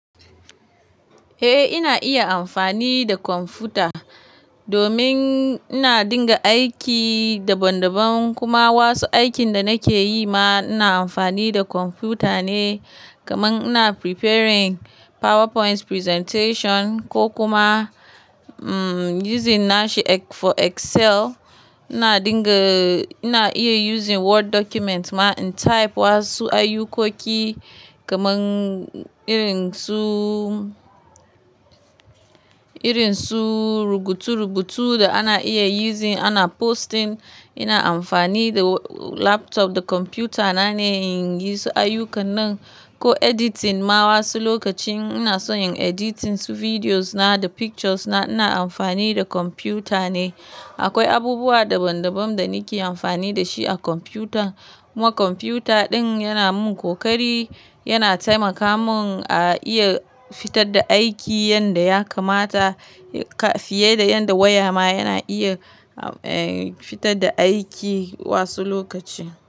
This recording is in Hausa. Eh ina iya amfani da kwamfuta domin ina dinga aiki daban daban kuma wasu aikin da nake yi ma ina amfani da kwamfuta ne, kamar ina preparing PowerPoint presentation ko kuma using nashi for Excel. Ina dinga-- ina iya using Word document ma in type wasu ayukoki kamar irin su, irin su rubutu rubutu da ana iya using ana posting. Ina amfani da laptop da kwamfutana ne in yi su ayyukan nan ko editing ma wasu lokacin ina so in editing su videos na da pictures na, ina amfani da kwamfuta ne. Akwai abubuwa daban daban da nake amfani da shi a kwamfuta. Kuma kwamfuta ɗin yana min kokari, yana taimaka mun a iya fitar da aiki yadda ya kamata fiye da yadda waya ma yana iya fitar da aiki wasu lokaci.